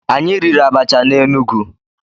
Anyị riri abacha na Enugu.